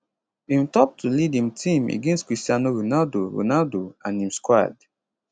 im top to lead im team against cristiano ronaldo ronaldo and im squad